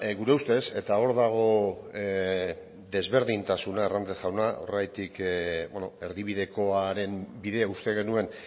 gure ustez eta hor dago desberdintasuna hernández jauna horregatik erdibidekoaren bidea uste genuen